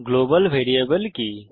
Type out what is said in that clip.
global variable কি